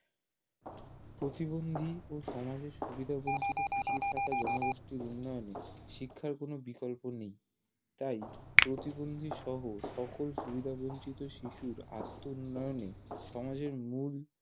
প্রতিবন্দী ও সমাজের সুবিধাবঞ্চিত পিছিয়ে থাকা জনগোষ্ঠীর উন্নয়নে শিক্ষার কোনো বিকল্প নেই তাই প্রতিবন্দীসহ সকল সুবিধাবঞ্চিত শিশুর আত্মউন্নয়নে সমাজের মুল